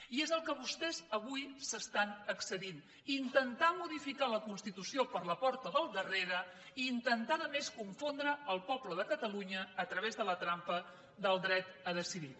i és en el que vostès avui s’estan excedint intentar modificar la constitució per la porta del darrere i intentar a més confondre el poble de catalunya a través de la trampa del dret a decidir